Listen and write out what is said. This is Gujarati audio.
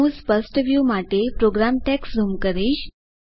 હું સ્પષ્ટ વ્યુ માટે પ્રોગ્રામ ટેક્સ્ટ ઝૂમ કરીશ